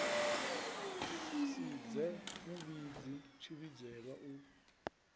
si dze muvhidzi tshivhidzelwa u